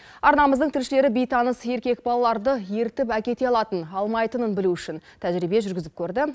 арнамыздың тілшілері бейтаныс еркек балаларды ертіп әкете алатын алмайтынын білу үшін тәжірибе жүргізіп көрді